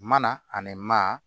Mana ani maa